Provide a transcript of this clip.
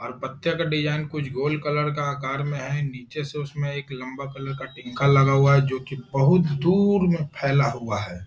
और पत्ते का डिज़ाइन कुछ गोल कलर का आकार में है। नीचे से उसमें एक लम्बा कलर का टिक्का लगा हुआ है जो कि बहुत दूर में फैला हुआ है।